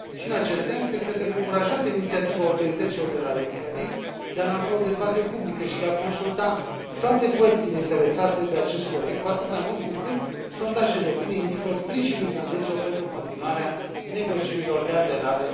Și în acest sens, cred că trebuie încurajată inițiativa autorităților de la Reykjavik de a lansa o dezbatere publică și de a consulta toate părțile interesate de acest proiect, cu atât mai mult cu cât sondajele de opinie indică sprijinul islandezilor pentru continuarea negocierilor de aderare.